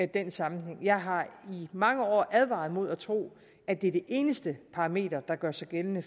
den sammenhæng jeg har i mange år advaret imod at tro at det er det eneste parameter der gør sig gældende